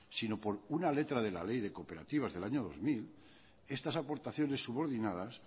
sino por una letra de la ley de cooperativas del año dos mil estas aportaciones subordinadas